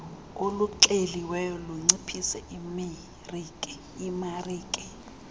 oluxeliweyo lunciphise imarike